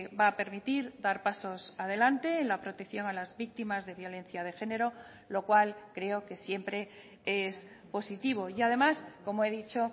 va a permitir dar pasos adelante en la protección a las víctimas de violencia de género lo cual creo que siempre es positivo y además como he dicho